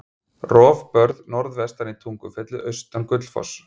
Rofbörð norðvestan í Tungufelli, austan Gullfoss.